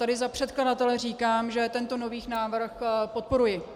Tady za předkladatele říkám, že tento nový návrh podporuji.